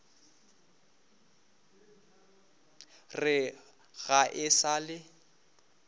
re ga e sa le